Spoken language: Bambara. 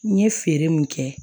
N ye feere min kɛ